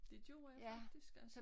Det gjorde jeg faktisk altså